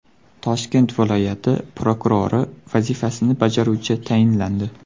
Toshkent viloyati prokurori vazifasini bajaruvchi tayinlandi.